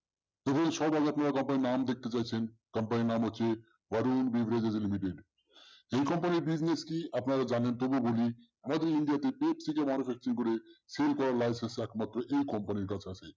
company র নাম দেখতে চাইছেন company র নাম হচ্ছে এই company র PVST আপনারা জানেন তবুও বলি আমাদের india তে করে sell করার licence একমাত্র এই compnay র কাছে আছে।